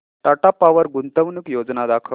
Tata Power गुंतवणूक योजना दाखव